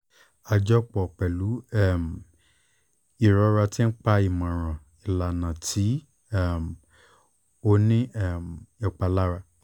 ajọpọ pẹlu um irora ti ń pa ni imọran ilana ti um o ni um ìpalára